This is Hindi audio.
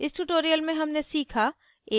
इस tutorial में हमने सीखा